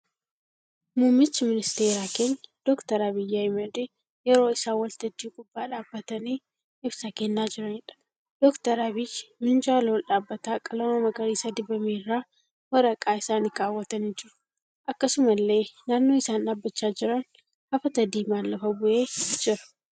Muummicha ministeeraa keenya Dr. Abiyyii Ahimadii yeroo isaan waltajjii gubbaa dhaabbatanii ibsa kennaa jiraniidha. Dr. Abiyyi minjaala ol dhaabbataa qalama magariisa dibame irra waraqaa isaanii kaawwatanii jiru. Akkasumallee naannoo isaan dhaabbachaa jiran hafata diimaan lafa bu'ee jira.